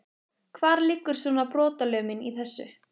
Hvar liggur svona brotalömin í þessu?